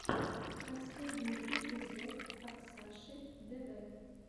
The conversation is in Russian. последний эпизод оксаши дв